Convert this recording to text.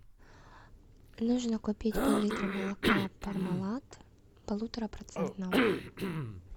нужно купить пол литра молока пармалат полуторапроцентного